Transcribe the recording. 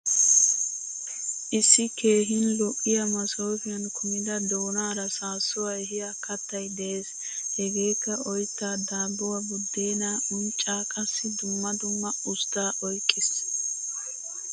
Issi keehin lo'iyaa masofiyan kumida doonaara saasuwaa ehiya kattay de'ees. Hegeekka oytta, daabuwaa, budeena, uncca qassi dumma dumma ustta oyqqiis.